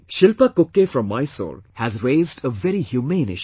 Shilpa Kukke from Mysore has raised a very humane issue